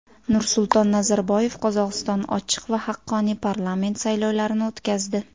Nursulton Nazarboyev: Qozog‘iston ochiq va haqqoniy parlament saylovlarini o‘tkazdi.